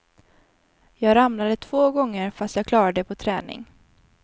Jag ramlade två gånger fast jag klarar det på träning.